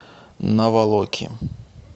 наволоки